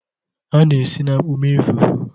A na-esi na akpu mee fufu.